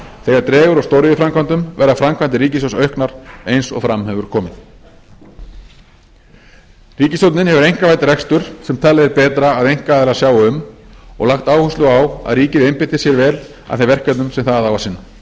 þegar dregur úr stóriðjuframkvæmdum verða framkvæmdir ríkissjóðs auknar eins og fram hefur komið ríkisstjórnin hefur einkavætt rekstur sem talið er betra að einkaaðilar sjái um og lagt áherslu á að ríkið einbeiti sér vel að þeim verkefnum sem það á að sinna